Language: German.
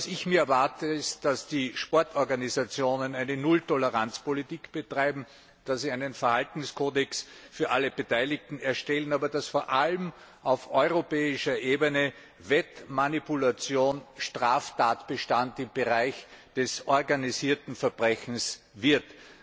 Ich erwarte mir, dass die Sportorganisationen eine Nulltoleranzpolitik betreiben, dass sie einen Verhaltenskodex für alle Beteiligten erstellen, aber vor allem, dass auf europäischer Ebene Wettmanipulation Straftatbestand im Bereich des organisierten Verbrechens wird.